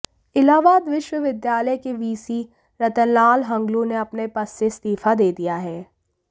इलाहाबाद विश्वविद्यालय के वीसी रतनलाल हंगलू ने अपने पद से इस्तीफा दे दिया है